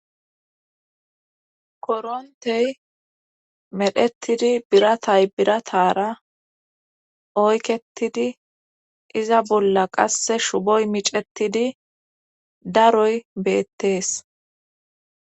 korontey medhetidi biratay biratara oyketidi iza bolla qasse shuboy micetidi daroy beettees